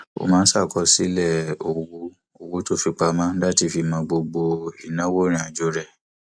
ó máa ń ṣàkọsílè owó owó tó fi pamọ láti mọ gbogbo ìnáwó ìrìnàjò rẹ